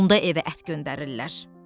Onda evə ət göndərirlər.